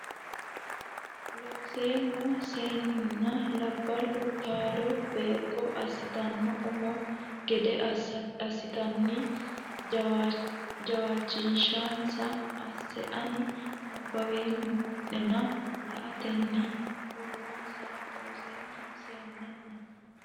Looseemmo Seennenna labballo taalo beeqqo assitanno umo gede assatenni jawaachishshinsa asse ani nabbaweemma nena la atenni ha runse Looseemmo Seennenna.